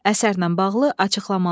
Əsərlə bağlı açıqlamalar.